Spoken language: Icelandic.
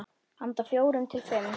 Handa fjórum til fimm